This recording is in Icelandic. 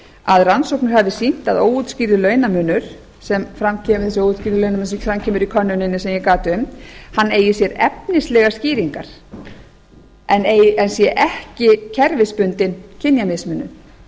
að rannsóknir hafi sýnt að óútskýrður launamunur sem fram kemur í könnuninni sem ég gat um eigi sér efnislega skýringar en sé ekki kerfisbundin kynjamismunun